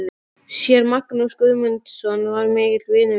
Séra Magnús Guðmundsson var mikill vinur minn.